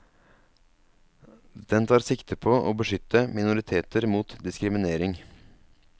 Den tar sikte på å beskytte minoriteter mot diskriminering.